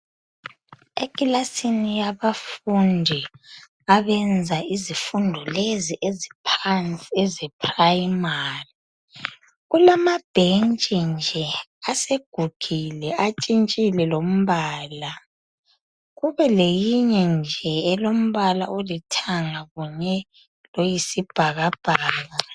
Ekilasini yabafundi abenza izifundo lezi eziphansi eze primary, kulama bhentshi nje asegugile atshintshile lombala, kube leyinye nje elombala olithanga kunye loyisibhakabhaka.